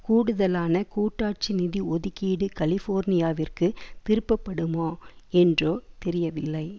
கூடுதலான கூட்டாட்சி நிதி ஒதுக்கீடு கலிஃபோர்னியாவிற்கு திருப்பப்படுமா என்றோ தெரியவில்லை